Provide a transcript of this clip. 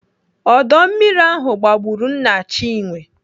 Ọdọ mmiri ahụ gbagburu nna Chinwe